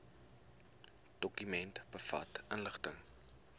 dokument bevat inligting